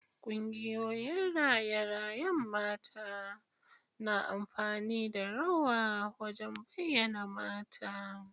Kungiyoyin raye-rayen mata na amfani da rawa wajen bayyana mata.